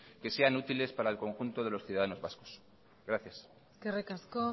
que sean útiles para el conjunto de los ciudadanos vascos gracias eskerrik asko